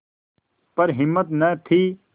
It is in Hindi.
पर हिम्मत न थी